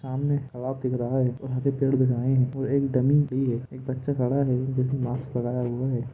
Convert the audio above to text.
सामने दिख रहा है और पेड़ दिख रहा है और एक डमी भी है एक बच्चा खड़ा है उसने मास्क लगाया हुआ है ।